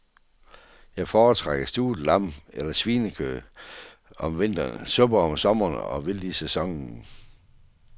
Jeg foretrækker stuvet lam eller svinekød om vinteren, suppe om sommeren, og vildt i sæsonen.